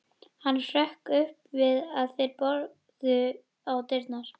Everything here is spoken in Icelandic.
Hann hrökk upp við að þeir börðu á dyrnar.